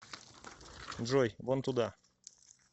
джой вон туда